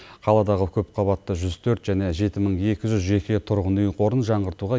қаладағы көпқабатты жүз төрт және жеті мың екі жүз жеке тұрғын үй қорын жаңғыртуға